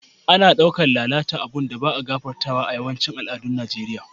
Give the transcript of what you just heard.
Ana dauke lalata abun da ba'a gafartawa a'yawancin al'adun Nijeriya.